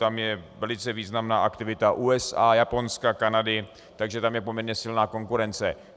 Tam je velice významná aktivita USA, Japonska, Kanady, takže tam je poměrně silná konkurence.